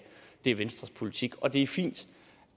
er venstres politik og det er fint